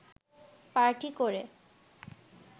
party করে